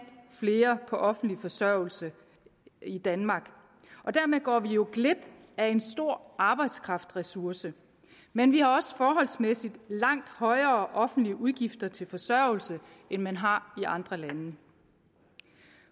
flere på offentlig forsørgelse i danmark og dermed går vi jo glip af en stor arbejdskraftressource men vi har også forholdsmæssigt langt højere offentlige udgifter til forsørgelse end man har i andre lande